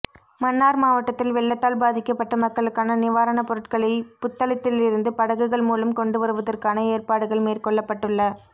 மன்னார் மாவட்டத்தில் வெள்ளத்தால் பாதிக்கப்பட்ட மக்களுக்கான நிவாரணப் பொருட்களை புத்தளத்திலிருந்து படகுகள் மூலம் கொண்டுவருவதற்கான ஏற்பாடுகள் மேற்கொள்ளப்பட்டுள்ள